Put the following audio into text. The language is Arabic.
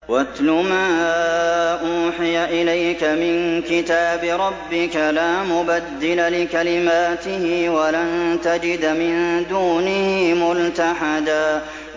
وَاتْلُ مَا أُوحِيَ إِلَيْكَ مِن كِتَابِ رَبِّكَ ۖ لَا مُبَدِّلَ لِكَلِمَاتِهِ وَلَن تَجِدَ مِن دُونِهِ مُلْتَحَدًا